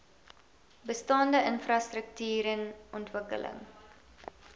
bestaande infrastruktuuren ontwikkeling